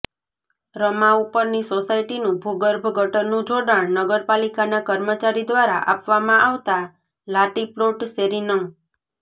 રમા ઉપરની સોસાયટીનું ભુગર્ભ ગટરનું જોડાણ નગરપાલીકાના કર્મચારી દ્વારા આપવામા આવતા લાતીપ્લોટ શેરી નં